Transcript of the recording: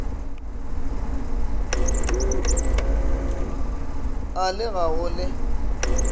a le ga go le